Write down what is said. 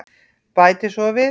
Bæti svo við.